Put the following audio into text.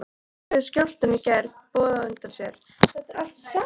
En gerði skjálftinn í gær boð á undan sér?